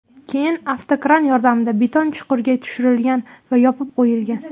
Keyin avtokran yordamida beton chuqurga tushirlgan va yopib tashlangan.